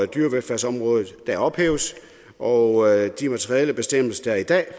dyrevelfærdsområdet der ophæves og de materielle bestemmelser der er i dag og